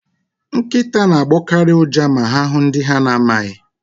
Nkịta na-agbọkarị ụja ma ha hụụ ndị ha na-amaghị.